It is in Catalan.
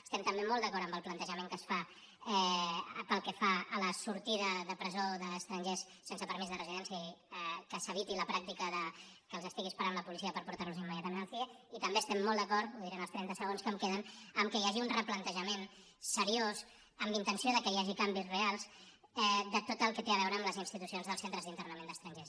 estem també molt d’acord amb el plantejament que es fa pel que fa a la sortida de presó d’estrangers sense permís de residència i que s’eviti la pràctica que els estigui esperant la policia per portar·los immediatament al cie i també estem molt d’acord ho diré en els trenta segons que em queden en el fet que hi hagi un replantejament seriós amb intenció que hi hagi canvis reals de tot el que té a veure amb les institu·cions dels centres d’internament d’estrangers